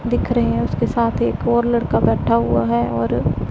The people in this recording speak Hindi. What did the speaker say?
दिख रहे हैं उसके साथ एक और लड़का बैठा हुआ है और--